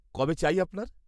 -কবে চাই আপনার?